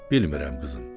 Bilmirəm, qızım.